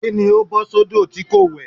Kí ni ó bọ́ sódò tí kò wẹ̀?